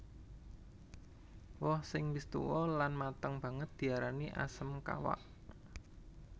Woh sing wis tuwa lan mateng banget diarani asem kawak